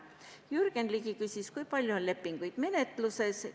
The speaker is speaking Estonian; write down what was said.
Jürgen Ligi küsis, kui palju lepinguid on menetluses.